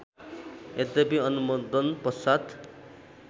यद्यपि अनुमोदन पश्चात्